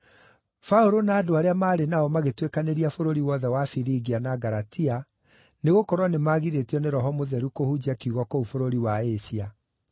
Paũlũ na andũ arĩa maarĩ nao magĩtuĩkanĩria bũrũri wothe wa Firigia na Galatia, nĩgũkorwo nĩmagirĩtio nĩ Roho Mũtheru kũhunjia kiugo kũu bũrũri wa Asia.